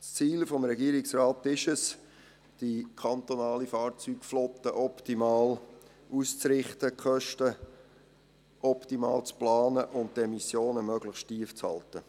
Das Ziel des Regierungsrates ist es, die kantonale Fahrzeugflotte optimal auszurichten, die Kosten optimal zu planen und die Emissionen möglichst tief zu halten.